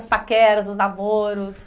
Os paqueras, os namoros?